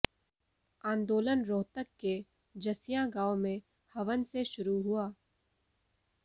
आंदोलन रोहतक के जसिया गांव में हवन से शुरू हुआ